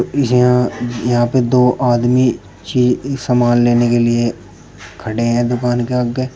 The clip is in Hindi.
यहां यहां पे दो आदमी की सामान लेने के लिए खड़े हैं दुकान के आगे।